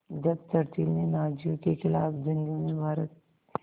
जब चर्चिल ने नाज़ियों के ख़िलाफ़ जंग में भारत